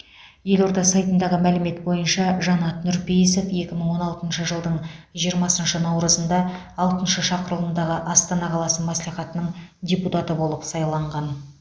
елорда сайтындағы мәлімет бойынша жанат нұрпейісов екі мың он алтыншы жылдың жиырмасыншы наурызында алтыншы шақырылымдағы астана қаласы мәслихатының депутаты болып сайланған